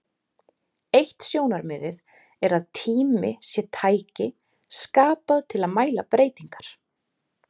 Eitt sjónarmiðið er að tími sé tæki skapað til að mæla breytingar.